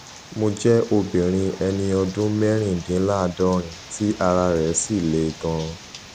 mo jẹ obìnrin ẹni ọdún mẹrìndínláàádọrin tí ara rẹ sì le gan an